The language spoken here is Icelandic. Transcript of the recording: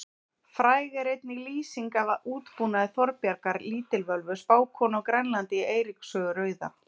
Fræg er einnig lýsing af útbúnaði Þorbjargar lítilvölvu spákonu á Grænlandi í Eiríks sögu rauða.